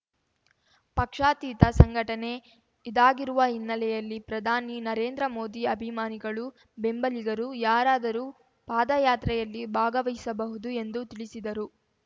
ಪಕ್ಷಾತೀತ ಸಂಘಟನೆ ಇದಾಗಿರುವ ಹಿನ್ನೆಲೆಯಲ್ಲಿ ಪ್ರಧಾನಿ ನರೇಂದ್ರ ಮೋದಿ ಅಭಿಮಾನಿಗಳು ಬೆಂಬಲಿಗರು ಯಾರಾದರೂ ಪಾದಯಾತ್ರೆಯಲ್ಲಿ ಭಾಗವಹಿಸಬಹುದು ಎಂದು ತಿಳಿಸಿದರು